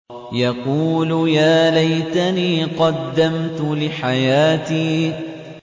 يَقُولُ يَا لَيْتَنِي قَدَّمْتُ لِحَيَاتِي